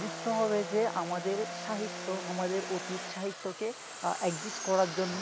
বুঝতে হবে যে আমাদের সাহিত্য আমাদের অতীত সাহিত্যকে adjust করার জন্য